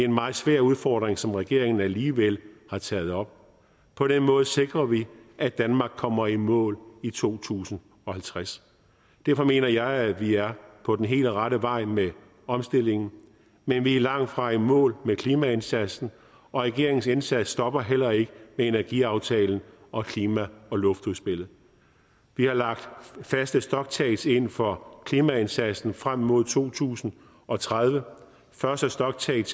meget svær udfordring som regeringen alligevel har taget op på den måde sikrer vi at danmark kommer i mål i to tusind og halvtreds derfor mener jeg at vi er på den helt rette vej med omstillingen men vi er langtfra i mål med klimaindsatsen og regeringens indsats stopper heller ikke med energiaftalen og klima og luftudspillet vi har lagt faste stocktakes ind for klimaindsatsen frem mod to tusind og tredive første stocktake